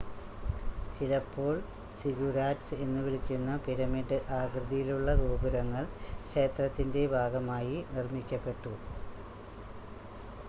ചിലപ്പോൾ സിഗുരാറ്റ്‌സ് എന്ന് വിളിക്കുന്ന പിരമിഡ് ആകൃതിയിലുള്ള ഗോപുരങ്ങൾ ക്ഷേത്രത്തിൻ്റെ ഭാഗമായി നിർമ്മിക്കപ്പെട്ടു